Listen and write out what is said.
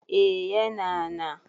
eh yana na